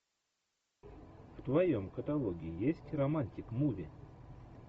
в твоем каталоге есть романтик муви